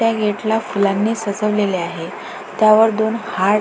त्या गेट ला फुलांणी सजवलेले आहे त्यावर दोन हार्ट --